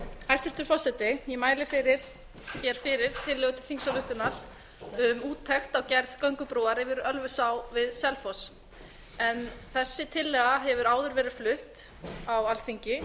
hæstvirtur forseti ég mæli fyrir tillögu til þingsályktunar um úttekt á gerð göngubrúar yfir ölfusá við selfoss þessi tillaga hefur áður verið flutt á alþingi